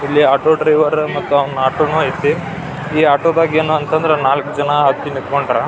ಇಲ್ಲಿ auto driver ಮತ್ತೆ ಅವ್ನ ಆಟೋನು ಅಯ್ತ್ನಿ ಈ ಆಟೋದಾಗೆ ಏನ್ ಅಂತ ಅಂದ್ರೆ ನಾಲಕ್ ಜನ ಹತ್ತಿ ನಿಂಥಂಕೊಂಡರ .